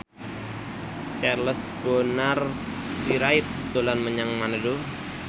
Charles Bonar Sirait dolan menyang Manado